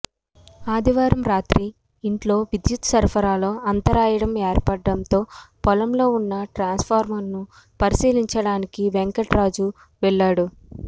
ఆదివారం రాత్రి ఇంట్లో విద్యుత్ సరఫరాలో అంతరాయడం ఏర్పడటంతో పొలంలో ఉన్న ట్రాన్స్ఫార్మర్ను పరిశీలించడానికి వెంకటరాజు వెళ్లాడు